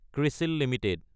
ক্ৰিছিল Ltd